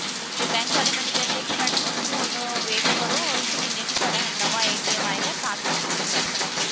ਤੇ bank ਵਾਲੇ ਮੈਨੂੰ ਕਹਿੰਦੇ ਕਿ madam ਤੁਸੀ ਹੁਣ wait ਕਰੋ ਇੱਕ ਮਹੀਨੇ ਨੂੰ ਤੁਹਾਡਾ ਹੁਣ ਨਵਾਂ ਆਏਗਾ ਤਾਂ ਤੁਸੀ use ਕਰ ਸਕਦੇ ਹੋ